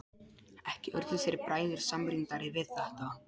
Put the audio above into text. Ekki urðu þeir bræður samrýndari við þetta.